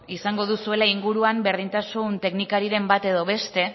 izango duzuela inguruan berdintasun teknikariren bat edo beste